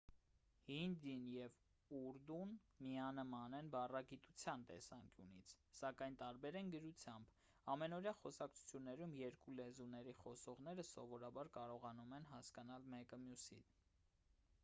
հինդին և ուրդուն միանման են բառագիտության տեսանկյունից սակայն տարբեր են գրությամբ ամենօրյա խոսակցություններում երկու լեզուների խոսողները սովորաբար կարողանում են հասկանալ մեկը մյուսին